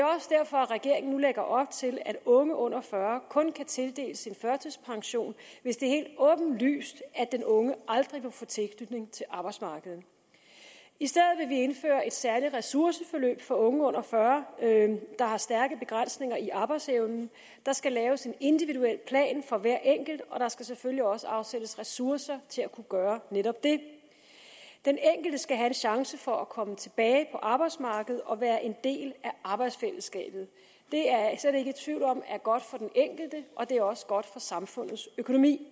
at regeringen nu lægger op til at unge under fyrre år kun kan tildeles en førtidspension hvis det er helt åbenlyst at den unge aldrig vil få tilknytning til arbejdsmarkedet i stedet vil vi indføre et særligt ressourceforløb for unge under fyrre år der har stærke begrænsninger i arbejdsevnen der skal laves en individuel plan for hver enkelt og der skal selvfølgelig også afsættes ressourcer til at kunne gøre netop det den enkelte skal have en chance for at komme tilbage på arbejdsmarkedet og være en del af arbejdsfællesskabet det er jeg slet ikke i tvivl om er godt for den enkelte og det er også godt for samfundets økonomi